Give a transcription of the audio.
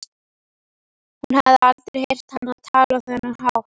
Hún hafði aldrei heyrt hann tala á þennan hátt.